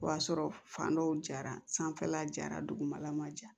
O y'a sɔrɔ fan dɔw jara sanfɛla jara dugumala ma ja